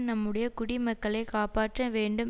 நம்முடைய குடிமக்களை காப்பாற்ற வேண்டும்